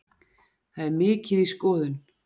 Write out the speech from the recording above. Það er mikið í skoðun.